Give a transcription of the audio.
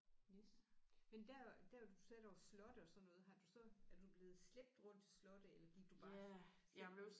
Yes men der der hvor du sagde der var slotte og sådan noget har du så er du blevet slæbt rundt til slotte eller gik du bare selv